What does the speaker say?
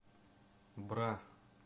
бра